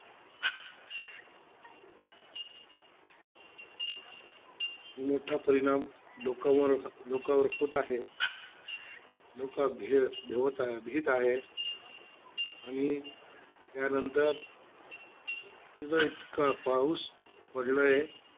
मोठा परिणाम लोकं लोकांवर होत आहे. लोक भी भेवत भीत आहे. आणि त्यांनतर इथं इतका पाऊस पडलाय.